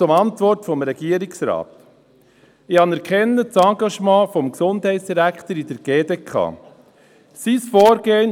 Zur Antwort des Regierungsrates: Ich anerkenne das Engagement des Gesundheitsdirektors in der Schweizerischen Konferenz der kantonalen Gesundheitsdirektoren (GDK).